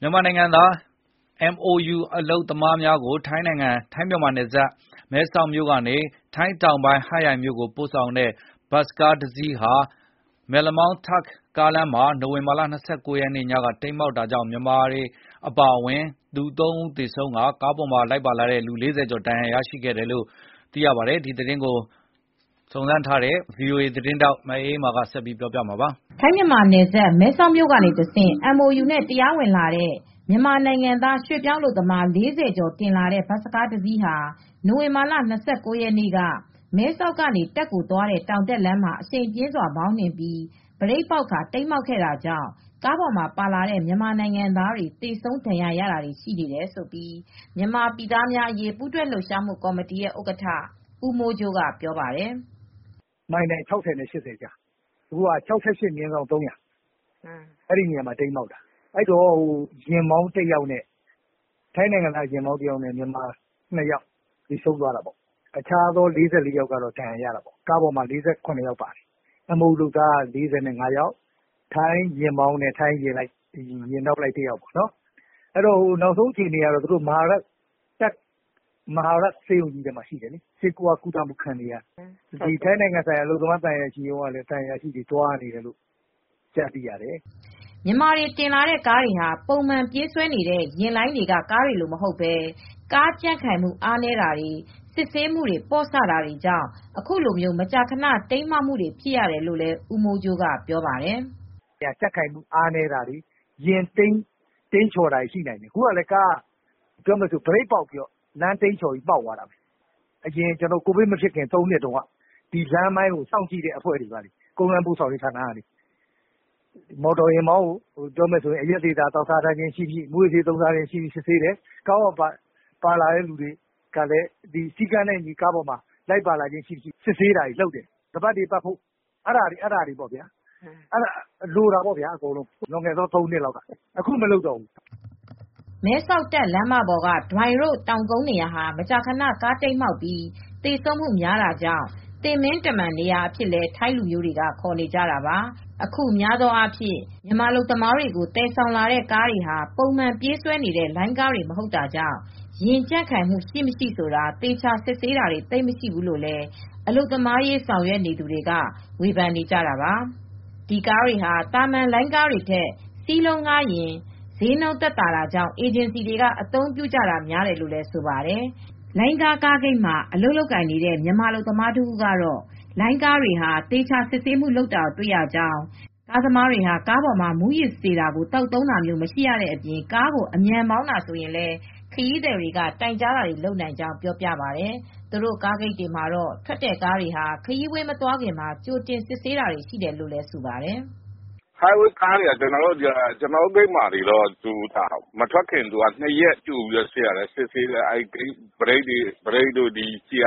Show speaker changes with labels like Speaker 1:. Speaker 1: မြန်မာနိုင်ငံသား MoU အလုပ်သမားများကို ထိုင်းမြန်မာနယ်စပ်မဲဆောက်မြို့ကနေ ထိုင်းတောင်ပိုင်းဟတ်ရိုင်မြို့ကိုပို့ဆောင်မဲ့ ဘတ်စ်ကားတစီးဟာ မယ်လမောင်းတာခ့် ကားလမ်းမှာ နိုဝင်ဘာလ၂၉ ရက်နေ့ညက တိမ်းမှောက်လို့ မြန်မာအပါဝင်လူ ၃ ဦးသေဆုံးကာ ၄၀ကျော်ဟာ ဒဏ်ရာတွေရခဲ့ကြပါတယ်။ ဒီသတင်းကိုဗွီအိုအေသတင်းထောက်မအေးအေးမာ
Speaker 2: ကသတင်းပေးပို့ထားပါတယ်။ ထိုင်းမြန်မာနယ်စပ်မဲဆောက်မြို့ကတဆင့် MOU နဲ့တရားဝင်လာတဲ့ မြန်မာနိုင်ငံသားရွှေပြောင်းအလုပ်သမား ၄၀ ကျော်တင်လာတဲ့ဘတ်စ်ကားတစီးဟာ နိုဝင်ဘာလ ၂၉ ရက်နေ့က မဲဆောက်ကနေ တာ့ခ်ကိုသွားတဲ့တောင်တက်လမ်းမှာ အရှိန်ပြင်းစွာမောင်းနှင်လာရင်း ဘရိတ်ပေါက်ပြီးတိမ်းမှောက်ခဲ့တာကြောင့် ကားပေါ်မှာပါလာတဲ့ မြန်မာနိုင်ငံသားတွေ သေဆုံးဒဏ်ရာရတာတွေ ရှိတယ်လို့ မြန်မာပြည်သားများအရေးပူးတွဲ လှုပ်ရှားမှုကော်မတီရဲ့ဥက္ကဋ္ဌ ဦးမိုးကြိုးက ပြောပါတယ်။
Speaker 1: “မိုင်တိုင် ၆၀ နဲ့ ၃၀၀ ကြား။ အခုက ၆၈/၃၀၀ အဲဒီနေရာမှာတိမ်းမှောက်တာ။ ထိုင်းနိုင်ငံသားယာဉ်မောင်းတယောက်နဲ့ မြန်မာအလုပ်သမား၂ ယောက်သေဆုံးသွားတာပေါ့။ တခြားသော ၄၄ ယောက်ကတော့ ဒဏ်ရာရတာပေါ့။ ကားပေါ်မှာတော့ MOU အလုပ်သမားက ၄၅ ယောက်၊ ထိုင်းယာဉ်မောင်းနဲ့ယာဉ်နောက်လိုက် ၂ ယောက်။ စုစုပေါင်း ၄၇ ယောက်လိုက်ပါလာတာပေါ့။ နောက်ဆုံးအခြေနေကတော့ ထိုင်းတာ့ခ်ပြည်နယ်က မဟာရတ်ဆေးရုံကြီးကိုပို့ထားရတယ်။ မြန်မာနိုင်ငံဆိုင်ရာ ဘန်ကောက်သံရုံးက အလုပ်သမားသံအရာရှိတွေလည်း သွားနေတယ်လို့ သိရပါတယ်။
Speaker 2: ” မြန်မာတွေတင်လာတဲ့ကားတွေဟာ ပုံမှန်ပြေးဆွဲနေတဲ့ယာဉ်လိုင်းတွေကကားတွေလိုမဟုတ်ဘဲ ကားကြံ့ခိုင်မှု အားနည်းတာ၊ စစ်ဆေးပြင်ဆင်မှု ပေါ့ဆတာတွေကြောင့် အခုလိုမကြာခဏ တိမ်းမှောက်မှုတွေဖြစ်ရတယ်လို့လည်း ဦးမိုးကြိုးကပြောပါတယ်။ “ကြံ့ခိုင်မှုအားနည်းတာတွေ ယာဉ်တိမ်
Speaker 1: းချော်တာတွေရှိနိုင်တယ်။ အခုကလည်းလမ်းတိမ်းချော်ပြီး ဘရိတ်ပေါက်သွားတယ်။ အရင်ကိုဗစ်မဖြစ်ခင် ၃ နှစ်လောက်က လမ်းပိုင်းဆိုင်ရာတွေကို စစ်ဆေးတဲ့အဖွဲ့ရဲ့ ကုန်းလမ်းပို့ဆောင်တဲ့သူတွေက ကားမောင်းသမားက မူးယစ်ဆေးဝါးသုံးစွဲမှု ရှိမရှိ၊ အရက်သေစာသောက်စားတာရှိမရှိ စစ်ဆေးရပါတယ်။ ကားပေါ်ကပါလာတဲ့သူတွေကလည်း စည်းကမ်းနဲ့အညီ လိုက်ပါခြင်းရှိမရှိ စစ်ဆေးတယ်။ ခါးပတ်တွေပတ်ဖို့ - အဲဒါတွေကိုစစ်ဆေးတယ်။ အခုတော့ စစ်ဆေးတာ မတွေ့တော့ဘူး။”
Speaker 2: မဲဆောက် တာခ့်လမ်းမပေါ်က Doi Ruak ဒွိုင်ရို့ တောင်ကုန်းနေရာဟာ မကြာခဏ ကားမှောက်ပြီး သေဆုံးသူများတာကြောင့် သေမင်းတမန်နေရာအဖြစ်လည်း ထိုင်းလူမျိုးတွေက ခေါ်နေကြတာပါ။ မြန်မာအလုပ်သမားတွေကိုသယ်ဆောင်လာတဲ့ကားတွေဟာ ပုံမှန်ပြေးဆွဲနေတဲ့လိုင်းကားတွေမဟုတ်တာကြောင့် ယာဉ်ကြံ့ခိုင်မှု ရှိမရှိဆိုတာ သေချာစစ်ဆေးတာတွေ သိပ်မရှိဘူးလို့လည်း အလုပ်သမားရေးဆောင်ရွက်နေသူတွေက ဝေဖန်နေကြတာပါ။ ဒီကားတွေဟာ သာမန်လိုင်းကားတွေထက် စီးလုံးငှားရမ်းခသက်သာတာကြောင့် အေဂျင်စီတွေက အသုံးပြုကြတာများတယ်လို့လည်းဆိုပါတယ်။ လိုင်းကား ကားဂိတ်မှာ အလုပ်လုပ်ကိုင်နေတဲ့မြန်မာအလုပ်သမားတဦးကတော့ လိုင်းကားတွေဟာ ဟာ သေချာစစ်ဆေးမှုတွေလုပ်ရကြောင်း၊ ကားသမားတွေဟာ ကားပေါ်မှာ မူးယစ်စေတာကိုသောက်သုံးတာမျိုး မရှိရတဲ့အပြင် ကားကို အမြန်မောင်းရင်လည်း ခရီးသည်တွေက တိုင်ကြားနိုင်ကြောင်း ပြောပြပါတယ်။ သူတို့ ကားဂိတ်တွေမှာ ထွက်တဲ့ကားတွေကတော့ ခရီးဝေးမသွားခင် ကြိုတင်စစ်ဆေးတာတွေရှိတယ်လို့လည်း ဆိုပါတယ်။ “High Way သွားတဲ့ကားတွေက ကျနော်တို့ဂိတ်တွေမှာတော့ ဘရိတ်တွေ၊ စတီရီယာတိုင်တွေ ဘယ်လိုရှိလဲဆိုတာ၊ ဘီးတွေဘယ်လိုရှိလဲဆိုတာ ၂ ရက်ကြိုပြီး စစ်ဆေးရ